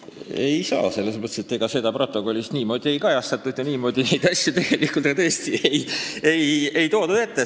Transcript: Ei saa, sest ega seda protokollis niimoodi ei kajastatud ja niimoodi neid asju tegelikult tõesti ei toodud esile ka.